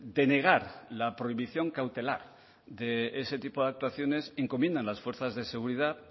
denegar la prohibición cautelar de ese tipo de actuaciones encomiendan las fuerzas de seguridad